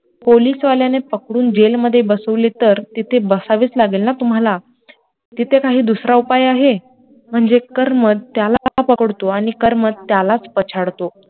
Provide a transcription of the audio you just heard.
पोलिसवाल्याने पकडून jail मध्ये बसवले तर, तिथे बसवेच लागेल ना तुम्हाला, तिथं काही दुसरा उपाय आहे, म्हणजे कर्म त्याला पकडतो आणि कर्मच त्यालाच पछाडतो